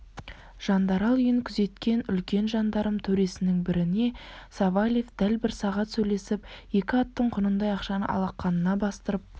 жандарал үйін күзеткен үлкен жандарм төресінің біріне савельев дәл бір сағат сөйлесіп екі аттың құнындай ақшаны алақанына бастырып